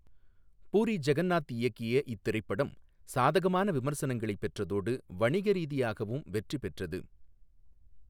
பூரி ஜெகந்நாத் இயக்கிய இத்திரைப்படம் சாதகமான விமர்சனங்களைப் பெற்றதோடு, வணிக ரீதியாகவும் வெற்றி பெற்றது.